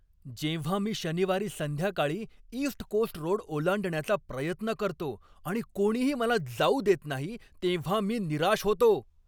जेव्हा मी शनिवारी संध्याकाळी ईस्ट कोस्ट रोड ओलांडण्याचा प्रयत्न करतो आणि कोणीही मला जाऊ देत नाही तेव्हा मी निराश होतो.